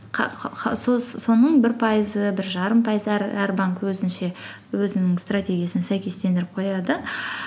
соның бір пайызы бір жарым пайыздар әр банк өзінше өзінің стратегиясын сәйкестендіріп қояды